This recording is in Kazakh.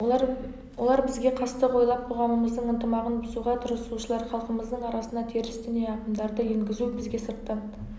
олар бізге қастық ойлап қоғамымыздың ынтымағын бұзуға тырысушылар халқымыздың арасына теріс діни ағымдарды енгізу бізге сырттан